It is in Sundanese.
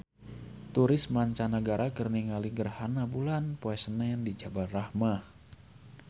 Turis mancanagara keur ningali gerhana bulan poe Senen di Jabal Rahmah